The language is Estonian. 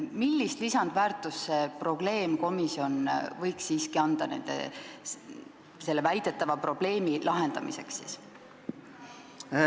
Millist lisandväärtust see probleemkomisjon võiks anda selle väidetava probleemi lahendamisel?